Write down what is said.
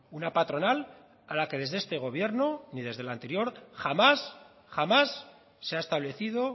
una patronal a la que desde este gobierno ni del anterior jamás jamás se ha establecido